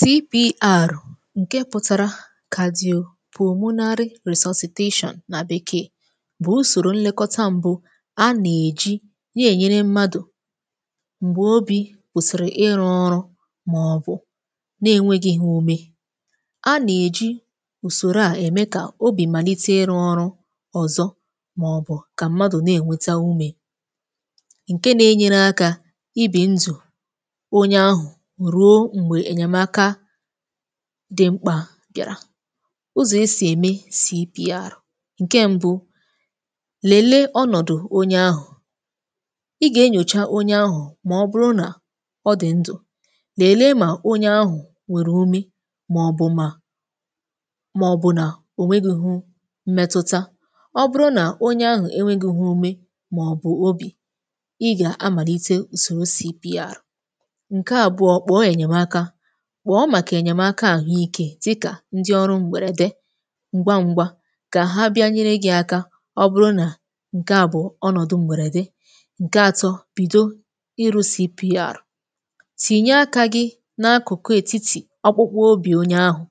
CPR ǹkè pụtara Cadiopulmonary Resuscitation nà Bekee bụ̀ ùsòrò nlekọta mbụ̇ a nà-èji ya ènyere mmadụ̀ m̀gbè obì kwụ̀sị̀rị̀ ịrụ̇ ọrụ màọbụ̀ na-enwėghì ha umè. A nà-èji ùsòrò a ème kà obì màlite ịrụ̇ ọrụ ọ̀zọ, màọbụ̀ kà mmadụ̀ na-ènweta umè ǹkè nà-enyere akà ìbè ndù onye ahụ̀ ruo mgbe enyemaka dị mkpà bịàrà. Ụzọ̀ esì ème CPR: ǹkè mbu, lèlee ọnọ̀dụ̀ onye ahụ̀, ị gà-ènyòcha onye ahụ̀ mà ọ bụrụ nà ọ dị̀ ndụ̀; lèlee mà onye ahụ̀ nwèrè umè màọbụ̀ mà, màọbụ̀ nà ònwéghì m̀mẹtụta. Ọ bụrụ nà onye ahụ̀ enwėghì umè màọbụ̀ obì, ị gà-amàlite ùsòrò CPR. Ǹkè àbụọ, kpọọ màkà enyèmaka dịkà ndị ọrụ̇ m̀gbèrède ǹgwa ǹgwa kà ha bịanyere gị̇ aka, ọ bụrụ nà ǹkè à bụ̀ ọnọ̀dụ̀ m̀gbèrède. Ǹkè atọ, bìdo ịrụ̇ CPR: tìnye akà gị n’akụ̀kụ ètitì akpukpu obì onye ahụ̀,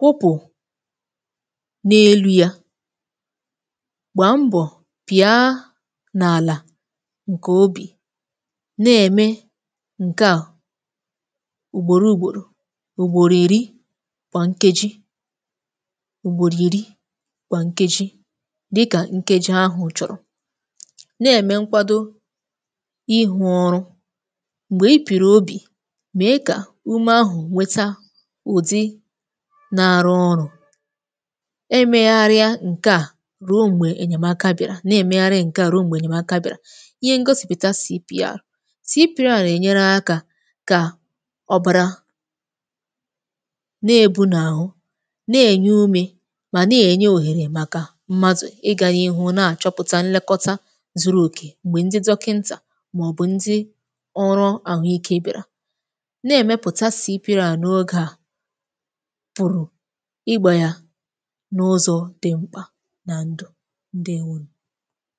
kupu na-elu̇ yà gbà mbọ̀ pị̀a n’àlà ǹkè obì. Na-ème ǹkè à ugbòrò ugboro—ugbòrò ìrì kwa nkejì, ugbòrò ìrì gwà nkejì—díkà nkejì ahụ̀ chọ̀rọ̀, na-ème nkwàdò ịhụ̇ ọrụ. M̀gbè i pìrì obì, mee kà umè ahụ̀ nweta ụ̀dị na-arụ̇ ọrụ̇. Emegharịa ǹkè à ruo m̀gbè enyèmaka bị̀àrà. Na-èmegharịa ǹkè à ruo m̀gbè enyèmaka bị̀àrà. Ìhè ngosìputa CPR: CPR na-ènyere àkà kà ọ̀bàrà na-ebunà ahụ̀, na-ènye umè mà na-ènye òhèrè màkà mmadụ̀ ịgàní̇ ihụ̇ nà-àchọpụ̀tà nlekọta zuru òkè m̀gbè ndị dọkìntà màọbụ̀ ndị ọrụ̇ àhụike bịàrà. Na-èmepụ̀ta CPR n’ogè a pụ̀rụ̀ igbà yà n’ụzọ̀ dị mkpà nà ndù ndị.